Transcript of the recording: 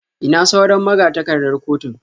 Ina sauran magatakardar kotun?